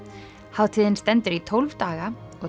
hátíðin stendur í tólf daga og